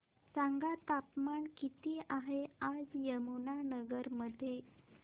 सांगा तापमान किती आहे आज यमुनानगर मध्ये